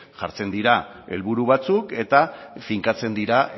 jartzen dira helburu batzuk eta finkatzen dira